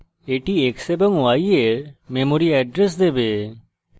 এটি x এবং y এর memory এড্রেস দেবে